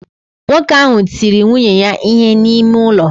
Nwoke ahụ tiri nwunye ya ihe n'ime ụlọ